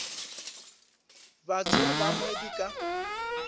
batho ba bangwe di ka